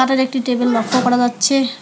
একটি টেবিল লক্ষ করা যাচ্ছে।